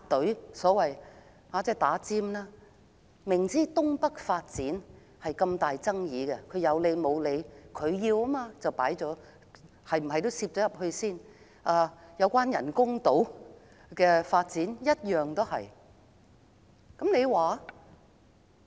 政府明知道新界東北發展極具爭議，卻不由分說插隊，因為政府堅持進行這個項目，人工島的發展亦如是。